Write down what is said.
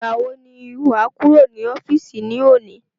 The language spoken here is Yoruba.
Ìgbà wo ni wà á kúrò ní ọ́fìsì ní òní?